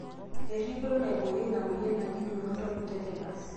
eripoto naiboorieki ina mweyian naji neonatal tetanus